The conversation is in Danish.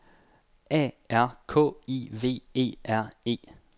A R K I V E R E